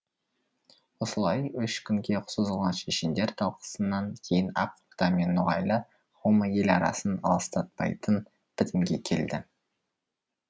осылай үш күнге созылған шешендер талқысынан кейін ақ орда мен ноғайлы қауымы ел арасын алыстатпайтын бітімге келді